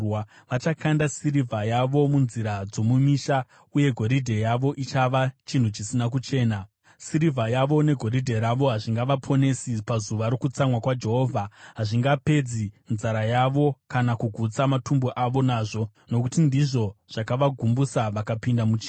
Vachakanda sirivha yavo munzira dzomumisha, uye goridhe yavo ichava chinhu chisina kuchena. Sirivha yavo negoridhe ravo hazvingavaponesi pazuva rokutsamwa kwaJehovha. Hazvingapedzi nzara yavo kana kugutsa matumbu avo nazvo, nokuti ndizvo zvakavagumbusa vakapinda muchivi.